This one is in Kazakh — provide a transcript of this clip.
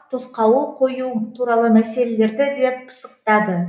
тосқауыл қою туралы мәселелерді де пысықтады